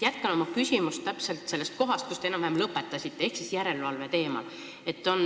Jätkan oma küsimust enam-vähem sellest kohast, kus te lõpetasite.